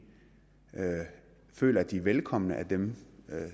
føler at de velkommen af dem